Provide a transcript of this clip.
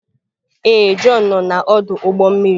Ee, Jọn nọ na ọdụ ụgbọ mmiri.